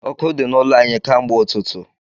Ọkụ di n’ụlọ anyị ka mgbe ụtụtụ